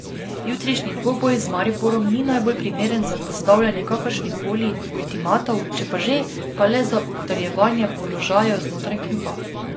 Jutrišnji dvoboj z Mariborom ni najbolj primeren za postavljanje kakršnihkoli ultimatov, če pa že, pa le za utrjevanje položajev znotraj kluba.